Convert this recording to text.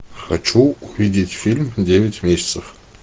хочу увидеть фильм девять месяцев